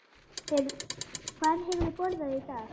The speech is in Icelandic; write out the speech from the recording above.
Hvað hefurðu borðað í dag?